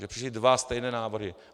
Že přišly dva stejné návrhy.